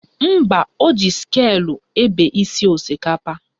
Mba, o ji sịkulụ ebe isi osikapa